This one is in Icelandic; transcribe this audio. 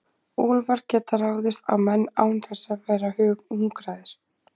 Úlfar geta ráðist á menn án þess að vera hungraðir.